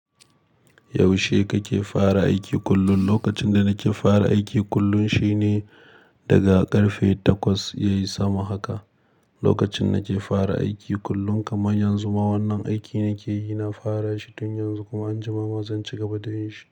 Yaushe kake fara aiki kullum? Lokacin da nake fara aiki kullum shine daga karfe takwas, yayi sama haka. Lokacin da nake fara aiki kullum kamar yanzu ma wannan aikin nake yi, na fara shi tun yanzu kuma anjima ma zan ci gaba da yin shi.